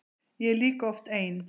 Ég er líka oft ein.